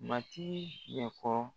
Mati y'a fɔ